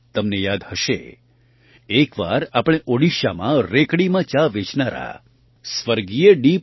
તમને યાદ હશે એક વાર આપણે ઓડિશામાં રેકડીમાં ચા વેચનારા સ્વર્ગીય ડી